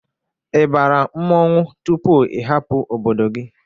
I bara mmọnwụ tupu i hapụ obodo gị?